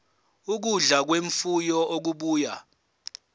ukudla kwemfuyo okubuya